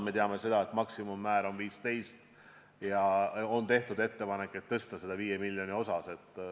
Me teame, et maksimummäär on 15 miljonit ja on tehtud ettepanek tõsta seda 5 miljoni võrra.